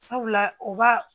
Sabula o b'a